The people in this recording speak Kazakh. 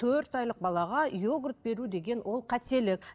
төрт айлық балаға йогурт беру деген ол қателік